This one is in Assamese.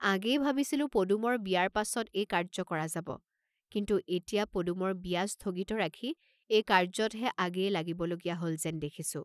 আগেয়ে ভাবিছিলো পদুমৰ বিয়াৰ পাচত এই কাৰ্য্য কৰা যাব, কিন্তু এতিয়া পদুমৰ বিয়া স্থগিত ৰাখি এই কাৰ্য্যতহে আগেয়ে লাগিব লগীয়া হল যেন দেখিছোঁ।